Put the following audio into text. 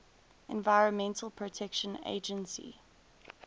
environmental protection agency